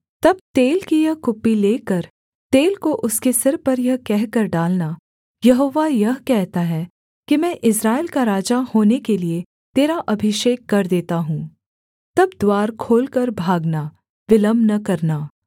तब तेल की यह कुप्पी लेकर तेल को उसके सिर पर यह कहकर डालना यहोवा यह कहता है कि मैं इस्राएल का राजा होने के लिये तेरा अभिषेक कर देता हूँ तब द्वार खोलकर भागना विलम्ब न करना